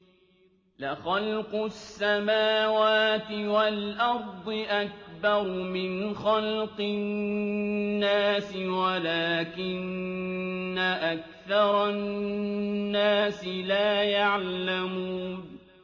لَخَلْقُ السَّمَاوَاتِ وَالْأَرْضِ أَكْبَرُ مِنْ خَلْقِ النَّاسِ وَلَٰكِنَّ أَكْثَرَ النَّاسِ لَا يَعْلَمُونَ